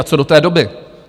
A co do té doby?